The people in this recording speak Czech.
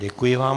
Děkuji vám.